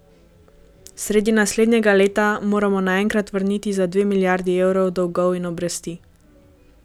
Sredi naslednjega leta moramo naenkrat vrniti za dve milijardi evrov dolgov in obresti.